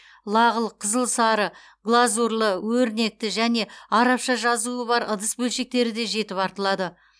лағыл қызғылт сары глазурлы өрнекті және арабша жазуы бар ыдыс бөлшектері де жетіп артылады